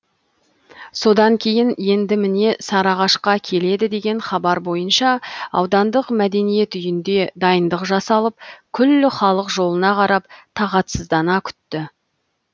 содан кейін енді міне сарыағашқа келеді деген хабар бойынша аудандық мәдениет үйінде дайындық жасалып күллі халық жолына қарап тағатсыздана күтті